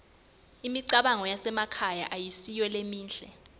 imigwaco yasemakhaya ayisiyo lemihle